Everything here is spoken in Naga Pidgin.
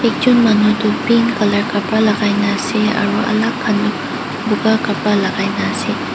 ekchun manu toh pink colour kabra lagai na ase aro alak kan puka kabra lagai kina ase.